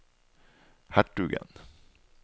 hertugen